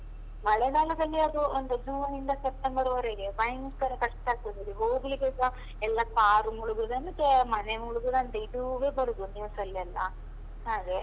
ಮಳೆಗಾಲದಲ್ಲಿ ಅದು ಒಂದು ಜೂನಿಂದ ಸೆಪ್ಟೆಂಬರ್ ವರೆಗೆ ಭಯಂಕರ ಕಷ್ಟ ಆಗ್ತದೆ, ಅಲ್ಲಿ, ಹೋಗ್ಲಿಕ್ಕೆಸ ಎಲ್ಲ car ಮುಳುಗುದಂತೆ, ಮನೆ ಮುಳುಗುದಂತೆ ಇದುವೇ ಬರುದು news ಅಲ್ಲೆಲ್ಲ. ಹಾಗೆ.